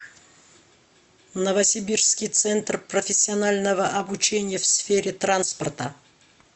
новосибирский центр профессионального обучения в сфере транспорта